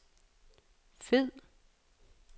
fed